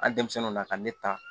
Hali denmisɛnnu na ka ne ta